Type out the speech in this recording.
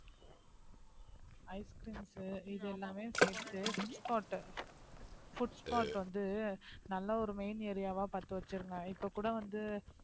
ice cream சு இது எல்லாமே சேர்த்து food spot food spot வந்து நல்ல ஒரு main area வா பாத்து வச்சிருந்தேன் இப்ப கூட வந்து